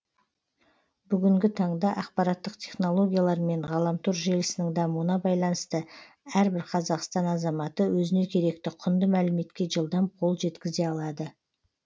бүгінгі таңда ақпараттық технологиялар мен ғаламтор желісінің дамуына байланысты әрбір қазақстан азаматы өзіне керекті құнды мәліметке жылдам қол жеткізе алады